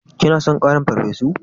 Kina son ƙarin farfesu?